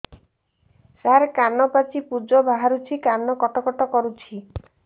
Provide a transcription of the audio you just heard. ସାର କାନ ପାଚି ପୂଜ ବାହାରୁଛି କାନ କଟ କଟ କରୁଛି